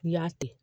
N'i y'a to